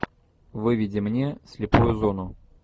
выведи мне слепую зону